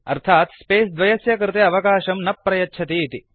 अर्थात् स्पेस द्वयस्य कृये अवकाशं न प्रयच्छति इति